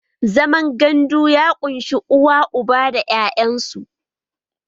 Zaman gandu ya ƙunshi uba, uwa, da 'ya'yan su